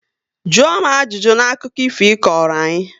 Jụọ m ajụjụ na akụkọ ifo ị kọrọ anyị!